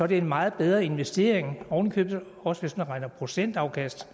det er en meget bedre investering oven i købet også hvis man regner med procentafkast